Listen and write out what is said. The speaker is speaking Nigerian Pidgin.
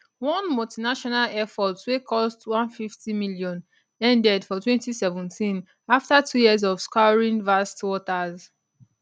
one multinational effort wey cost 150m ended for 2017 afta two years of scouring vast waters